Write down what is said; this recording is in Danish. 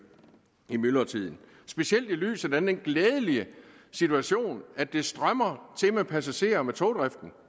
i myldretiden specielt i lyset af den glædelige situation at det strømmer til med passagerer på togdriften